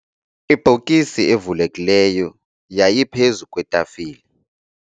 Ibhokisi evulekileyo yayiphezu kwetafile.